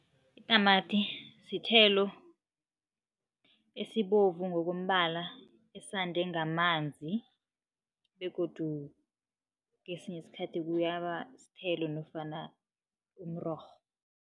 Itamati sithelo esibovu ngokombala, esande ngamanzi begodu kesinye isikhathi kuyaba sithelo nofana umrorho.